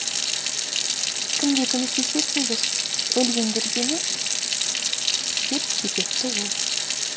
кімге көмектесесіңдер өлгендерге ме деп кекетті ол